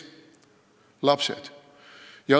Lapsed.